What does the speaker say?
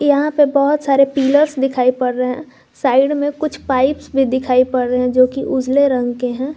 यहां पे बहुत सारे पिलर्स दिखाई पड़ रहे हैं साइड में कुछ पाइप्स भी दिखाई पड़ रही है जो की उजले रंग के हैं।